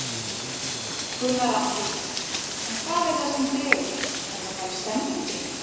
Gunnar Atli: En hvað er það sem dregur, er það bara stemningin?